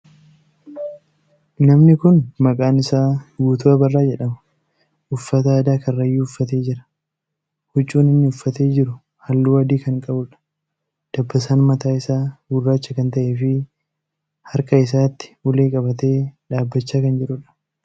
Namni kuni maqaan isaa Guutuu Abarraa jedhama. Uffata aadaa Karrayyuu uffatee jira. Huccuun inni uffatee jiru halluu adii kan qabuudha. Dabbasaan mataa isaa gurraacha kan ta'ee fi harka isaatti ulee qabatee dhaabbachaa kan jiruudha.